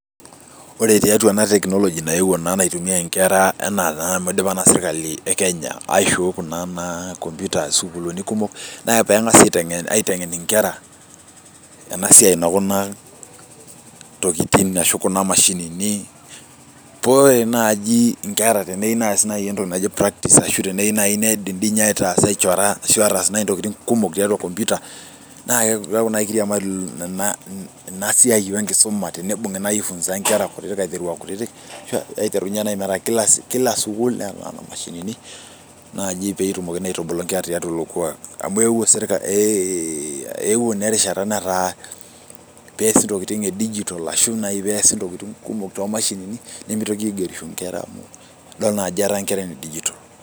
Ore tiatua ena technology naewuo naa naitumiyae inkera ana naa amu idipa naa sirkali ee Kenya aishooi naa computers naa peegasi aitengen inkera ena siaai ekina mashinini, poore naaji inkera teneyieu naaji ness entoki naji practice ashu teyiru naaji ataasa ashu aichora ashu ataas intokitin kumok tiatua computer naa keeku naaji kiriamari ina siaai wee enkisuma tenibungi naaji aifunza nkera aiteru aa kutiti ashu aiteru meetaa kore kila sukuul neeta mashini naaji peetumokini aitubulu inkera tiatua Ilo kuaak amu eeuo naa erishata peesi intokitin ee digital ashuaa pees ntokitin kumok too mashinini nemitoki aingerisho nkera idol naa ajo etaa nkera nedigital.